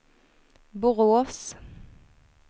Borås